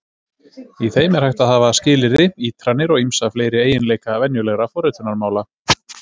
Í þeim er hægt að hafa skilyrði, ítranir og ýmsa fleiri eiginleika venjulegra forritunarmála.